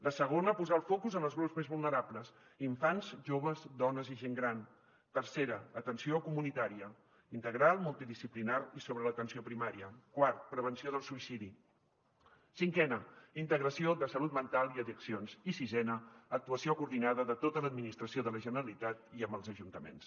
la segona posar el focus en els grups més vulnerables infants joves dones i gent gran tercera atenció comunitària integral multidisciplinària i sobre l’atenció primària quarta prevenció del suïcidi cinquena integració de salut mental i addiccions i sisena actuació coordinada de tota l’administració de la generalitat i amb els ajuntaments